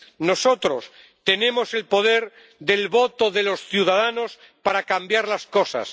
Nosotros tenemos el poder del voto de los ciudadanos para cambiar las cosas.